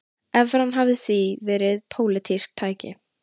Evran hafi því verið pólitískt tæki